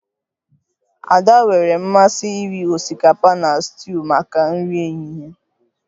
Ada nwere mmasị iri osikapa na stuuyu maka nri ehihie